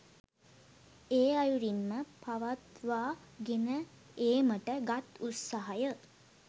ඒ අයුරින්ම පවත්වා ගෙන ඒමට ගත් උත්සාහය